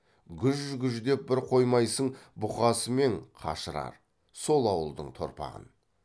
гүж гүждеп бір қоймайсың бұқасы мен қашырар сол ауылдың торпағын